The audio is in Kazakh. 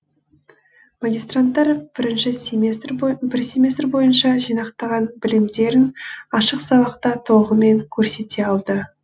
магистранттар бір семестр бойынша жинақтаған білімдерін ашық сабақта толығымен көрсете алды